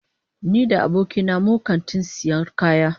Ni da abokina mun kantin sayar kaya.